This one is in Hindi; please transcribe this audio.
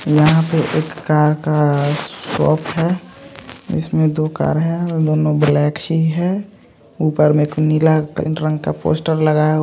यहाँ पर कार का शॉप है। इसमें दो कार है। दोनों ब्लैक ही है। ऊपर में को नीला रंग का पोस्टर लगाया--